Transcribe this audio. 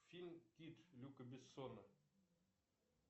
фильм кит люка бессона